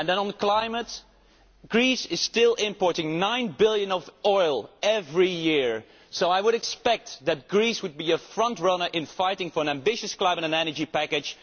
And on climate, Greece is still importing EUR 9 billion of oil every year, so I would expect that Greece to be a frontrunner in fighting for an ambitious climate and energy package.